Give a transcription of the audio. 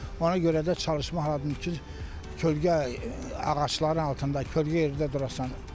Ona görə də çalışmaq lazımdır ki, kölgə ağacların altında, kölgə yerdə durasan.